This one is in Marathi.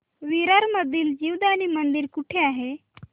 विरार मधील जीवदानी मंदिर कुठे आहे